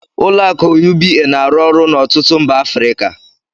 Ụlọ akụ UBA na-arụ ọrụ n'ọtụtụ mba Africa.